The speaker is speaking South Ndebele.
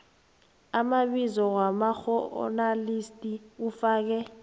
amabizo wabakghonakalisi ufake